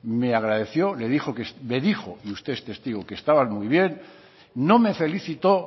me agradeció le dijo me dijo y usted es testigo que estaba muy bien no me felicitó